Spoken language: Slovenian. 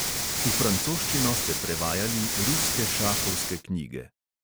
V francoščino ste prevajali ruske šahovske knjige.